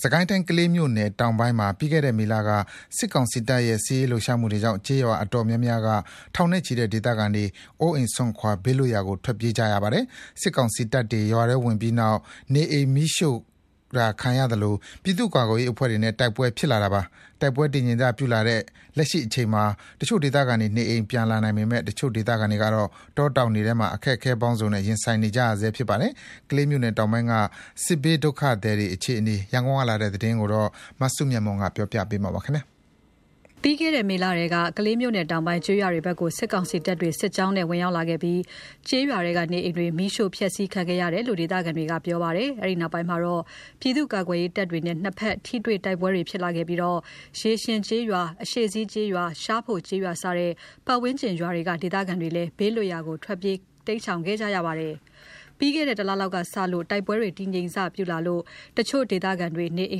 စစ်ကိုင်းတိုင်း ကလေးမြို့နယ်တောင်ပိုင်းမှာ ပြီးခဲ့တဲ့မေလကတည်းက စစ်ကောင်စီတပ်ရဲ့ စစ်ရေးလှုပ်ရှားမှုကြောင့် ကျေးရွာအတော်များများက ထောင်နဲ့ချီတဲ့ ဒေသခံတွေ အိုးအိမ်စွန့်ခွာ ဘေးလွတ်ရာကို ထွက်ပြေးကြရပါတယ်။ စစ်ကောင်စီတပ်တွေ ရွာထဲဝင်ပြီးနောက် နေအိမ်မီးရှို့တာခံရသလို ပြည်သူ့ကာကွယ်ရေးအဖွဲ့တွေနဲ့ တိုက်ပွဲဖြစ်လာတာပါ။ တိုက်ပွဲတည်ငြိမ်စပြုလာတဲ့ လက်ရှိအချိန်မှာ တချို့ဒေသခံတွေ နေအိမ်ပြန်လာနိုင်ပေမယ့် တချို့ ဒေသခံတွေကတော့ တောတောင်ထဲ အခက်အခဲပေါင်းစုံနဲ့ ရင်ဆိုင်နေကြဆဲဖြစ်ပါတယ်။ ကလေးမြို့နယ်တောင်ပိုင်းက စစ်ဘေးဒုက္ခသည်အခြေအနေ ရန်ကုန်ကလာတဲ့ သတင်းကို မစုမြတ်မွန်က တင်ပြပေးထားပါတယ်။ ပြီးခဲ့တဲ့ မေလထဲက ကလေးမြို့နယ်တောင်ပိုင်း ကျေးရွာတွေဘက် စစ်ကောင်စီတပ်တွေ စစ်ကြောင်းဆင်း ဝင်ရောက်ခဲ့ပြီးနောက် ကျေးရွာနေအိမ်တွေ မီးရှို့ဖျက်ဆီးခံရတယ်လို့ ရွာခံတွေက ပြောဆိုကြပါတယ်။ အဲ့ဒီနောက် ပြည်သူ့ကာကွယ်ရေးတပ်တွေနဲ့ နှစ်ဘက် ထိတွေ့တိုက်ပွဲတွေ ဖြစ်လာပြီး ရေရှင်ကျေးရွာ၊ အရှေ့စီးကျေးရွာ၊ ရှားဖိုကျေးရွာစတဲ့ ပတ်ဝန်းကျင်ကျေးရွာက ဒေသခံတွေလည်း ဘေးလွတ်ရာကို ထွက်ပြေးတိမ်ရှောင်နေကြရပါတယ်။ တိုက်ပွဲတည်ငြိမ်စပြုလာလို့ တချို့ဒေသခံတွေက နေအိ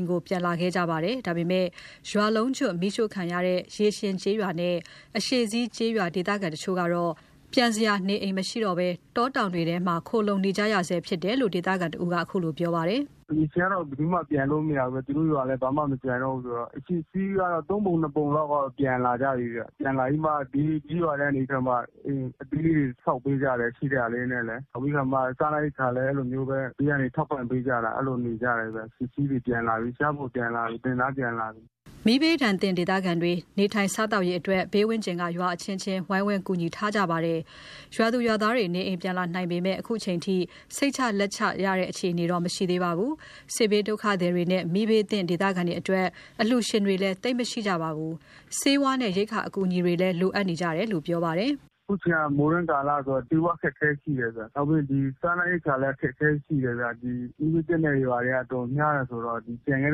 မ်ပြန်လာကြတာ တလလောက်ရှိနေပါပြီ။ ဒါပေမယ့် ရွာလုံးကျွတ်မီးရှို့ခံရတဲ့ ရေရှင်ကျေးရွာနဲ့ အရှေ့စီးကျေးရွာ ဒေသခံတချို့က ပြန်စရာနေအိမ်မရှိဘဲ တောတောင်ထဲမှာ ခိုလှုံနေကြဆဲဖြစ်တယ်လို့ ဒေသခံတဦးက အခုလိုပြောပါတယ်။ “ရေရှင်ကတော့ ဘယ်သူမှပြန်လို့မရဘူး။ သူတို့ရွာလည်း ဘာမှမကျန်တော့ဘူးဆိုတော့ အရှေ့စီးကတော့ ၃ ပုံ ၂ ပုံလောက်ကတော့ ပြန်လာကြပြီဗျ၊ ပြန်လာပြီးမှ ဘေးက ကျေးရွာထဲကနေပြီးတော့မှ အိမ်အသေးလေးတွေ ဆောက်ပေးကြတယ်။ ရှိတဲ့ဟာလေးနဲ့လေ။ နောက်ပြီးခါမှ စားနပ်ရိက္ခာလည်း အဲ့လိုမျိုးပဲ ဘေးကနေထောက်ပံ့ပေးကြတာ အဲ့လိုနေကြတယ်ဗျ။ အရှေ့စီးတွေ ပြန်လာပြီ။ ရှားဖိုပြန်လာပြီ။ တင်သားပြန်လာပြီ။” မီးဘေးသင့်ဒေသခံတွေ နေထိုင်စားသောက်ရေးအတွက် ဘေးဝန်းကျင် ကျေးရွာအချင်းချင်းက ဝိုင်းဝန်ကူညီထားကြပါတယ်။ ရွာသူရွာသားတွေ နေအိမ်ပြန်လာနိုင်ပေမယ့် အခုချိန်ထိ စိတ်ချလက်ချတဲ့ အခြေအနေမရှိသေးပါဘူး။ စစ်ဘေးဒုက္ခသည်တွေနဲ့ မီးဘေးသင့် ဒေသခံတွေအတွက် အလှူရှင်တွေ သိပ်မရကြပါဘူး။ ဆေးဝါးနဲ့ ရိက္ခာအကူအညီတွေလည်း လိုအပ်နေကြတာလို့ ဆိုပါတယ်။ “အခုချိန်က မိုးတွင်းကာလဆိုတော့ ဆေးဝါးအခက်အခဲရှိတယ်ဗျ။ နောက်ပြီး စားနပ်ရိက္ခာလည်း အခက်အခဲရှိတယ်ဗျ။ မီးဘေးသင့်တဲ့ရွာတွေက အတော်များတယ် ဆိုတော့ ဒီကျန်ခဲ့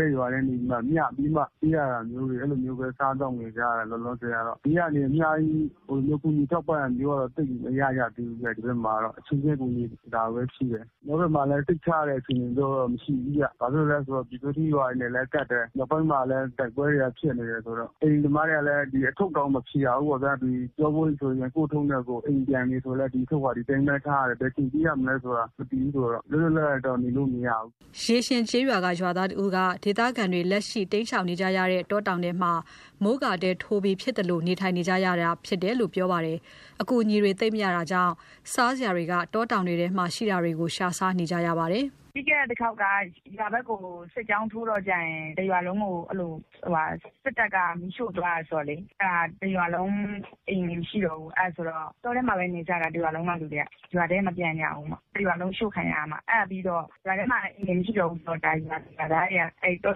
တဲ့ရွာကနေပြီးမှ မျှပြီးမှ ပေးရတာမျိုးတွေ၊ အဲ့လိုမျိုးပဲ စားသောက်နေကြတယ် လောလောဆယ်ကတော့။ ဘေးကနေ အများကြီးကူညီထောက်ပံ့တာမျိုးတော့ သိပ်မရကြသေးဘူး။ ဒီဘက်မှာကတော့ အချင်းချင်းကူညီတာပဲရှိတယ်။ ကျနော်တို့ဘက်ကမှာလည်း စိတ်ချရတဲ့ အခြေအနေမျိုးတော့ မရှိဘူးဗျ၊ ဘာဖြစ်လို့လဲဆိုတော့ ပျူးစောထီးရွာတွေနဲ့လည်း ကပ်တယ်၊ မြောက်ပိုင်းမှာလည်း တိုက်ပွဲတွေက ဖြစ်နေတယ်ဆိုတော့ အိမ်သမားတွေက အထုပ်တောင်မဖြေရဘူးပေါ့ဗျာ။ ဒီကျောပိုးအိတ်ဆိုရင် ကိုယ့်အထုတ်နဲ့ကိုယ် ပြန်။ အိမ်ပြီးပြီဆိုလည်း ဒီအထုပ်က ဒီအတိုင်းပဲထားရတယ်၊ ဘယ်အချိန်ပြေးရမလဲဆိုတာ မသိဘူးဆိုတော့ လွတ်လွတ်လပ်လပ်တော့ နေလို့မရဘူး။ စိတ်ချ လက်ချကတော့။” ရေရှင်ရွာခံတဦးက ဒေသခံတွေ လက်ရှိတိမ်းရှောင်နေကြတဲ့ တောတောင်ထဲမှာ မိုးကာတဲထိုးပြီး ဖြစ်သလို နေထိုင်ကြပြီး အကူအညီတွေ သိပ်မရတာကြောင့် စားစရာတွေက တောတောင်ထဲမှာ ရှိတာလေးနဲ့ ရှားစားနေရတာလို့ ဆိုပါတယ်။ “ပြီးခဲ့တဲ့ တခေါက်က ရွာထဲကို စစ်ကြောင်းထိုးတော့ကျရင် တရွာလုံးကို အဲ့လို စစ်တပ်က မီးရှို့သွားတယ်ဆိုတော့လေ။ အဲ့ဒါ တရွာလုံး အိမ်တွေ မရှိတော့ဘူး၊ အဲ့ဆိုတော့ တောထဲမှာပဲ နေကြတာ။ တရွာလုံးကလူတွေက ရွာထဲမပြန်ကြဘူး။ တရွာလုံး အရှို့ခံရတာ။ ရွာထဲမှာ အိမ်တွေမရှိတော့ဘူးဆိုတော့ ရွာသူရွာသားတွေက အဲ့တော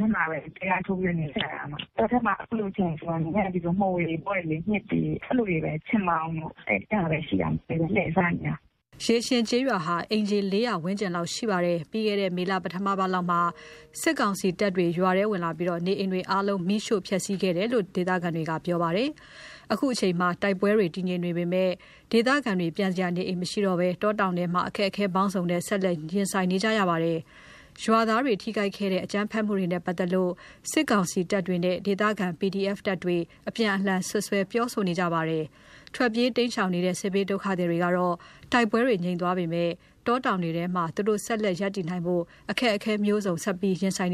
ထဲမှာပဲ တဲထိုးပြီးတော့ နေကြတာ။ တောထဲမှာ အခုလိုအချိန်ဆိုရင် မိုးရာသီဆိုရင် မှိုတွေပေါ်တယ်လေ၊ မျှစ်တွေ အဲ့လိုတွေပဲ ချဉ်ပေါင်တို့ အဲ့ဟာပဲရှိတာ လှည့်စားနေတာ။” ရေရှင်ကျေးရွာဟာ အိမ်ခြေ ၄၀၀ ဝန်းကျင်လောက်ရှိပါတယ်။ ပြီးခဲ့တဲ့ မေလ ပထမအပတ်လောက်က စစ်ကောင်စီတပ်တွေ ရွာထဲဝင်လာပြီး နေအိမ်တွေ အကုန်လုံး မီးရှို့ဖျက်စီးခံရတာလို့ ဆိုပါတယ်။ အခုချိန်မှာ တိုက်ပွဲတည်ငြိမ်နေပေမယ့် ဒေသခံတွေ ပြန်စရာနေအိမ် မရှိကြဘဲ တောတောင်ထဲမှာ အခက်အခဲပေါင်းစုံနဲ့ ရင်ဆိုင်နေကြရတာပါ။ အရပ်သားတွေ ထိုခိုက်ခဲ့တဲ့ အကြမ်းဖက်မှုတွေနဲ့ ပတ်သက်ပြီး စစ်ကောင်စီတပ်တွေနဲ့ ဒေသခံ PDF တပ်တွေ အပြန်အလှန် စွပ်စွဲပြောဆိုနေကြပါတယ်။ ထွက်ပြေးတိမ်းရှောင်နေနတဲ့ စစ်ဘေးဒုက္ခသည်တွေကတော့ တိုက်ပွဲတွေငြိမ်သွားပေမဲ့ တေ်တောင်ထဲမှာ ဆက်လက်ရပ်တည်ရေး အခက်အခဲတွေ မျိုးစုံ ဆက်ပြီး ရင်ဆိုင်နေ